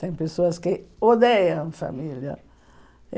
Tem pessoas que odeiam família.